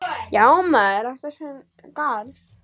Já, maður ræktar sinn garð.